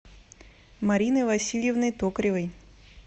мариной васильевной токаревой